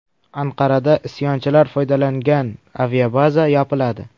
Anqarada isyonchilar foydalangan aviabaza yopiladi.